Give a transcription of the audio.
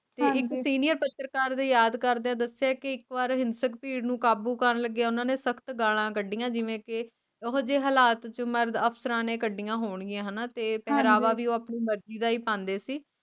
ਤੇ ਇਕ Senior ਪਤਰਕਾਰ ਦੇ ਯਾਦ ਕਰਦਿਆਂ ਦਸੀਏ ਕਿ ਇਕ ਵਾਰ ਹਿੰਸਕ ਭੀੜ ਨੂੰ ਕਾਬੂ ਕਰਨ ਲਗਿਆਂ ਓਹਨਾ ਨੇ ਸਖਤ ਗਾਲਾਂ ਕੱਢੀਆਂ ਜਿਵੇਂ ਕੇ ਉਹੋਜੇ ਹਾਲਾਤ ਚ ਮਰਦ ਅਫਸਰਾਂ ਨੇ ਕੱਢੀਆਂ ਹੋਣਗੀਆਂ ਹਣਾ ਤੇ ਪਹਿਰਾਵਾ ਵੀ ਉਹ ਆਪਣੀ ਮਰਜੀ ਦਾ ਹੀ ਪਾਂਦੇ ਸੀ